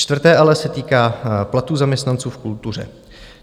Čtvrté "ale" se týká platů zaměstnanců v kultuře.